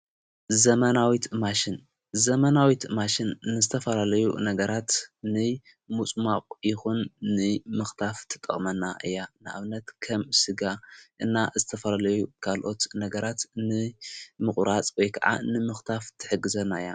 ዘ መ ናዊ ማሽ ን ዘመናዊት ማሽን ንስተፋረለዩ ነገራት ን ምጽማቝ ይኹን ን ምኽታፍ ትጠቕመና እያ ንኣብነት ከም ሥጋ እና እዝተፈረለዩ ጋልኦት ነገራት ን ምቑራጽ ጐይ ከዓ ንምኽታፍ ትሕግዘና ::